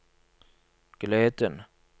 gleden